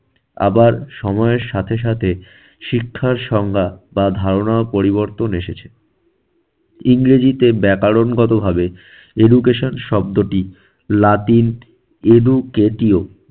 আবার সময়ের সাথে সাথে শিক্ষার সংজ্ঞা বা ধারণাও পরিবর্তন এসেছে। ইংরেজিতে ব্যাকরণগতভাবে education শব্দটি লাটিন educatio